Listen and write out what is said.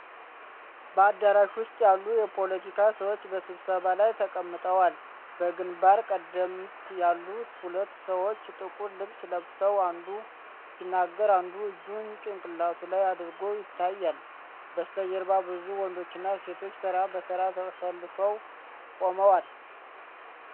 በአዳራሽ ውስጥ ያሉ የፖለቲካ ሰዎች በስብሰባ ላይ ተቀምጠዋል። በግንባር ቀደምት ያሉት ሁለት ሰዎች ጥቁር ልብስ ለብሰው አንዱ ሲናገር አንዱ እጁን ጭንቅላቱ ላይ አድርጎ ይታያል። በስተጀርባ ብዙ ወንዶችና ሴቶች ተራ በተራ ተሰልፈው ቆመዋል።